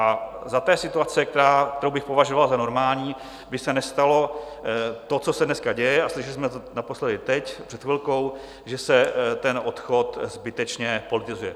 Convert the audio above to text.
A za té situace, kterou bych považoval za normální, by se nestalo to, co se dneska děje, a slyšeli jsme to naposledy teď před chvilkou, že se ten odchod zbytečně politizuje.